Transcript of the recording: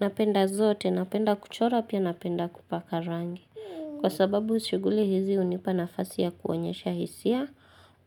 Napenda zote, napenda kuchora pia napenda kupaka rangi. Kwa sababu shughuli hizi hunipa nafasi ya kuonyesha hisia,